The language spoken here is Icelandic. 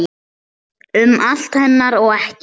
Um allt hennar og ekkert.